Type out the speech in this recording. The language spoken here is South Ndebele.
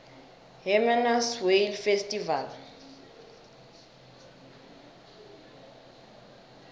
hermanus whale festival